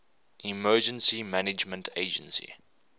emergency management agency